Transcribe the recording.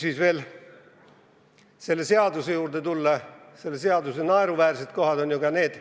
Kui veel kord selle kobareelnõu juurde tulla, siis selle naeruväärsed kohad on ju ka need ...